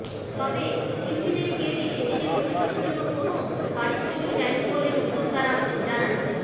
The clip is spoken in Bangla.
তবে শিল্পীদের কেউই এ দিনের অনুষ্ঠানের জন্য কোনও পারিশ্রমিক নেননি বলে উদ্যোক্তারা জানান